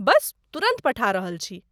बस तुरंत पठा रहल छी!